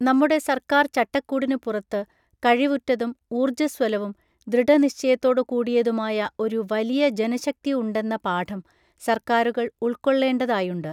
നമ്മുടെ സർക്കാർ ചട്ടക്കൂടിനു പുറത്ത്, കഴിവുറ്റതും ഊർജ്ജസ്വലവും ദൃഢനിശ്ചയത്തോടു കൂടിയതുമായ ഒരു വലിയ ജനശക്തി ഉണ്ടെന്ന പാഠം, സർക്കാറുകൾ ഉൾക്കൊള്ളേണ്ടതായുണ്ട്.